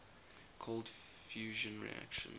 cold fusion reactions